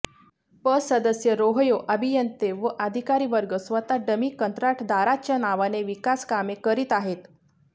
पं सदस्य रोहयो अभियंते व अधिकारीवर्ग स्वतः डमी कंत्राटदाराच्या नावाने विकासकामे करीत आहेत